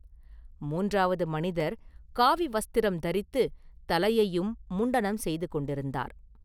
மூன்றாவது மனிதர் காவி வஸ்திரம் தரித்துத் தலையையும் முண்டனம் செய்து கொண்டிருந்தார்.